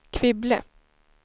Kvibille